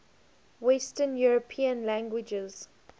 western european languages